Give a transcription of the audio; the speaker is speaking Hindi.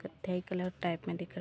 कथै कलर टाइप में दिख रहा--